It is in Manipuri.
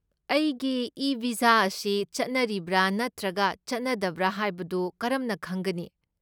ꯑꯩꯒꯤ ꯏ ꯚꯤꯖꯥ ꯑꯁꯤ ꯆꯠꯅꯔꯤꯕ꯭ꯔꯥ ꯅꯠꯇ꯭ꯔꯒ ꯆꯠꯅꯗꯕ꯭ꯔꯥ ꯍꯥꯏꯕꯗꯨ ꯀꯔꯝꯅ ꯈꯪꯒꯅꯤ?